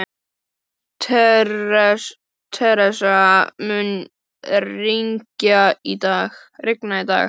Theresa, mun rigna í dag?